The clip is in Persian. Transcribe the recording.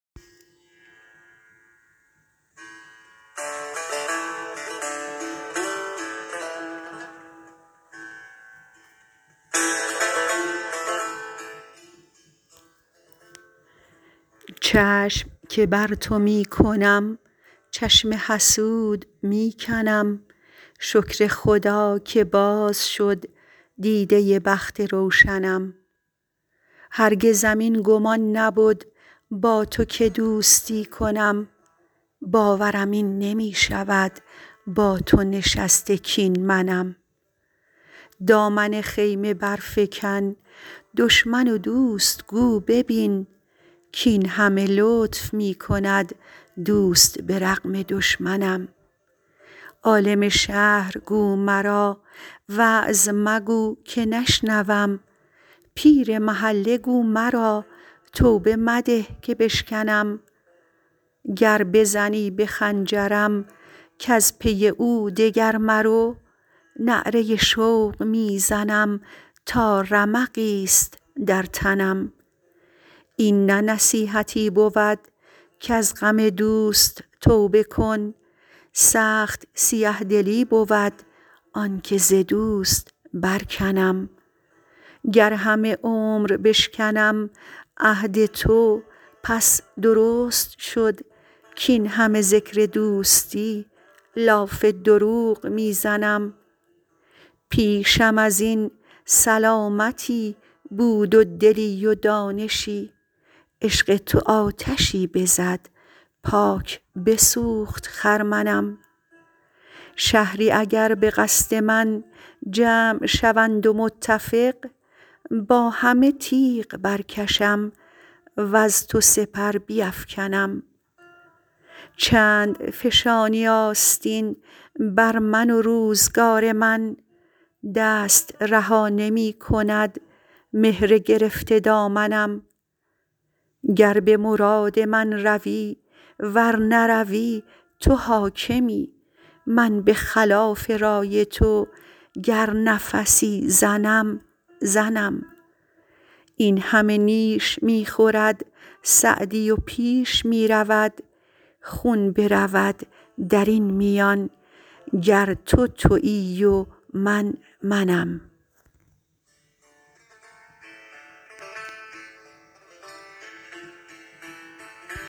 چشم که بر تو می کنم چشم حسود می کنم شکر خدا که باز شد دیده بخت روشنم هرگزم این گمان نبد با تو که دوستی کنم باورم این نمی شود با تو نشسته کاین منم دامن خیمه برفکن دشمن و دوست گو ببین کاین همه لطف می کند دوست به رغم دشمنم عالم شهر گو مرا وعظ مگو که نشنوم پیر محله گو مرا توبه مده که بشکنم گر بزنی به خنجرم کز پی او دگر مرو نعره شوق می زنم تا رمقی ست در تنم این نه نصیحتی بود کز غم دوست توبه کن سخت سیه دلی بود آن که ز دوست برکنم گر همه عمر بشکنم عهد تو پس درست شد کاین همه ذکر دوستی لاف دروغ می زنم پیشم از این سلامتی بود و دلی و دانشی عشق تو آتشی بزد پاک بسوخت خرمنم شهری اگر به قصد من جمع شوند و متفق با همه تیغ برکشم وز تو سپر بیفکنم چند فشانی آستین بر من و روزگار من دست رها نمی کند مهر گرفته دامنم گر به مراد من روی ور نروی تو حاکمی من به خلاف رای تو گر نفسی زنم زنم این همه نیش می خورد سعدی و پیش می رود خون برود در این میان گر تو تویی و من منم